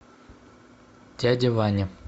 дядя ваня